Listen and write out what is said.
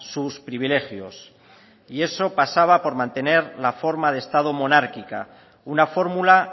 sus privilegios y eso pasaba por mantener la forma de estado monárquica una fórmula